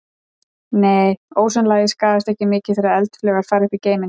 Nei, ósonlagið skaðast ekki mikið þegar eldflaugar fara upp í geiminn.